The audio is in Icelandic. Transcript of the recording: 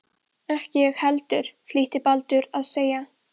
Ekki ég heldur, flýtti Baddi sér að segja.